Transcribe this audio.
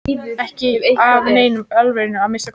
Ekki af neinni alvöru að minnsta kosti.